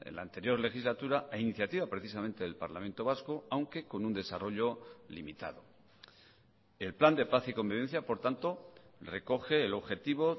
la anterior legislatura a iniciativa precisamente del parlamento vasco aunque con un desarrollo limitado el plan de paz y convivencia por tanto recoge el objetivo